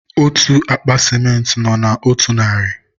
otú akpa sịmentị nọ na otu narị